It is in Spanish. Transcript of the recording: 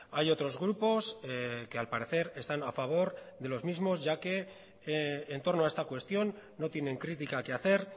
hay otros grupos que al parecer están a favor de los mismos ya que en torno a esta cuestión no tienen crítica que hacer